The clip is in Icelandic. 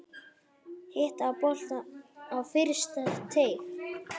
Hitta boltann á fyrsta teig.